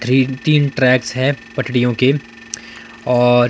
three तीन tracks है पटरियों के और--